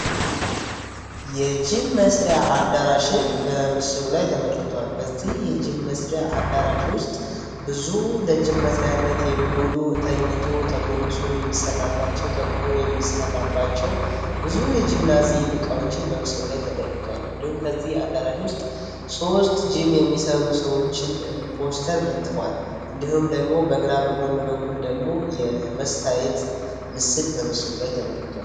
የጂም መስሪያ አዳራሽን በምስሉ ላይ ተመልክቷል፤ በዚህ የጅም መስሪያ ኣዳራሽ ብዙ ለጅም መስሪያ የሚውሉ ተተኝቶ፣ ተጐምብሶ የሚሠራባቸው፤ ተቁሞ የሚሠራባቸው ብዙ የጂምናዚየም እቃዎችን በምስሉ ላይ ተመልክቷል። እንዲሁም ከዚህ አዳራሽ ውስጥ ሶስት ጅም የሚሰሩ ሰዎችን ፓስተር ለጥፈዋል፤ እንዲሁም ደግሞ በግራ በኩል የመታየት ምስል ተመልክቷል።